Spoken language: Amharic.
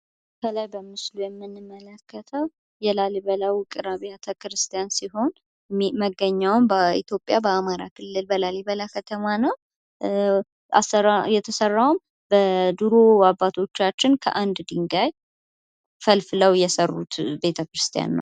ከላይ በምስሉ ላይ የምንመለከተው የላሊበላ ውቅር አብያተ ክርስቲያን ሲሆን መገኛውም በኢትዮጵያ በአማራ ክልል በላሊበላ ከተማ ነው። የተሰራውም በድሮ አባቶቻችን ከአንድ ድንጋይ ፈልፍለው የሰሩት ቤተክርስቲያን ነው።